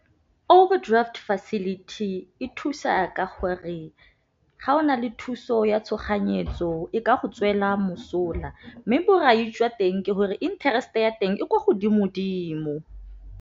Overdraft facility e thusa ka gore, ga o na le thuso ya tshoganyetso e ka go tswela mosola, mme borai jwa teng ke gore interest-e ya teng e ko godimo-dimo.